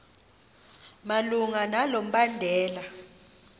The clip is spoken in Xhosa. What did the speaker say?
malunga nalo mbandela